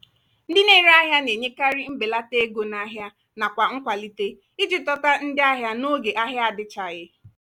ndị na-ere ahịa na-enyekarị mbelata ego n'ahia nakwa nkwalite iji dọta ndị ahịa n'oge ahia adichaghi.